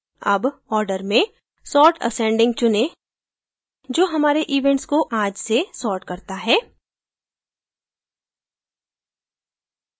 अब order में sort ascending चुनें जो हमारे events को आज से sort करता है